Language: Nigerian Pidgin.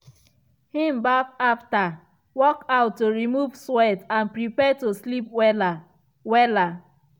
him baff after workout to remove sweat and prepare to sleep wella. wella.